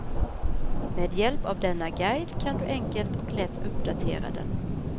Med hjälp av denna guide kan du enkelt och lätt uppdatera den.